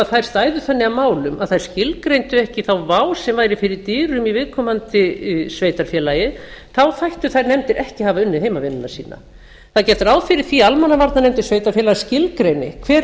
stæðu þannig að málum að þær skilgreindu ekki þá vá sem væri fyrir dyrum í viðkomandi sveitarfélaga þá þættu þær nefndir ekki hafa unnið heimavinnuna sína það er gert ráð fyrir því að almannavarnir sveitarfélaga skilgreindi hver